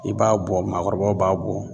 I b'a bɔ maakɔrɔbaw b'a bɔ